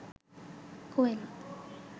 কোয়েল